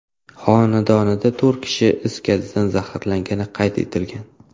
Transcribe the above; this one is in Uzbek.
xonadonida to‘rt kishi is gazidan zaharlangani qayd etilgan.